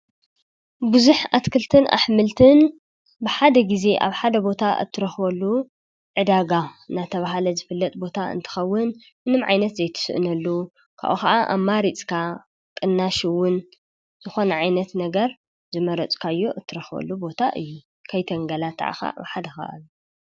ብዙኅ ኣትክልትን ኣኅምልትን ብሓደ ጊዜ ኣብ ሓደ ቦታ እትረኸበሉ ዕዳጋ ናቲብሃለ ዝፍለጥ ቦታ እንትኸውን እንም ዓይነት ዘይትስእነሉ ካኡ ኸዓ ኣብ ማሪጽካ ቕናሽውን ዝኾነ ዓይነት ነገር ዝመረጽካዮ እትረኸሉ ቦታ እዩ ።ከይተንገላ ተዓኻ ብሓደኸል።